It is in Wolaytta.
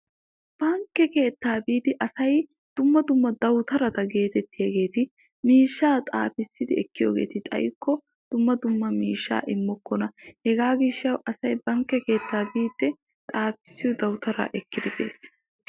bankke keettaa biidi asay dumma dumma dawutarata geetettiyaageeti miishshaa xaafissidi ekkiyogeeti xayikko dumma dumma miishshaa immokkona. hegaa gishshawu asay bankke keettaa biidi xaafissiyo dawutaraa ekkidi bees.